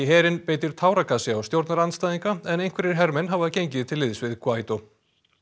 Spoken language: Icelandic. herinn beitir táragasi á stjórnarandstæðinga en einhverjir hermenn hafa gengið til liðs